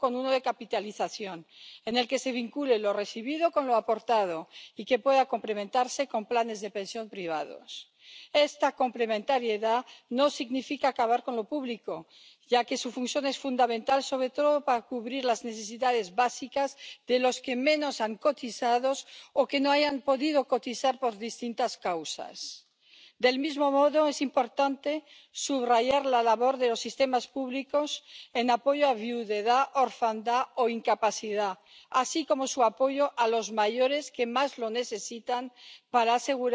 Nie jesteśmy w stanie stworzyć dobrego systemu emerytalnego, jeśli nie będzie on oparty przynajmniej na dwóch filarach silnym filarze publicznym i silnym filarze prywatnym. Filar publiczny powinien gwarantować minimalną emeryturę, natomiast filar prywatny powinien umożliwić obywatelom podniesienie świadczeń, które będą odbierali przyszłości. Oczywiście, szczególnie w przypadku filaru publicznego, państwo powinno zabezpieczyć gwarancje i zapewnić odpowiednie zabezpieczenie składek, inwestować je w sposób odpowiedzialny, bezpieczny i zrównoważony. Obywatele Unii potrzebują dzisiaj pewności, że płacone składki faktycznie